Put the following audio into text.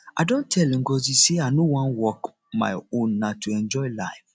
i don tell ngozi say i no wan work my own na to enjoy life